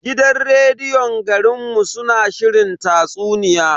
Gidan rediyon garin mu suna shirin tatsuniya.